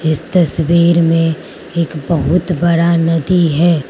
इस तस्वीर में एक बहुत बड़ा नदी है।